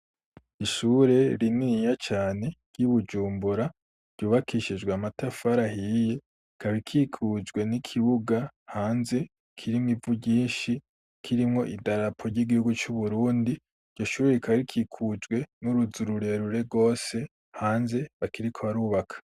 Ishure rininiya cane ryi Bujumbura, ryubakishijwe amatafari ahiye, ikaba ikikujwe n'ikibuga hanze kirimwo ivu ryinshi, kirimwo idarapo ry'Igihugu cu Burundi, iryo shure rikaba rikikujwe n'uruzu rurerure rwose, hanze bakiriko barubaka.